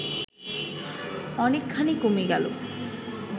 অনেকখানি কমে গেল